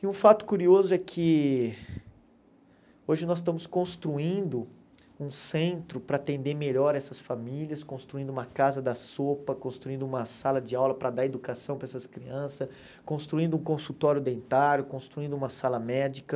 E um fato curioso é que hoje nós estamos construindo um centro para atender melhor essas famílias, construindo uma casa da sopa, construindo uma sala de aula para dar educação para essas crianças, construindo um consultório dentário, construindo uma sala médica,